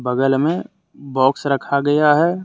बगल में बॉक्स रखा गया है।